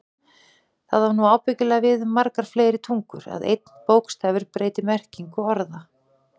Það á nú ábyggilega við um margar fleiri tungur, að einn bókstafur breyti merkingu orða.